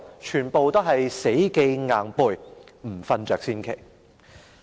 全部要死記硬背，不睡着才奇怪。